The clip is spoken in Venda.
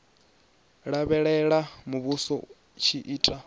lavhelela muvhuso u tshi ita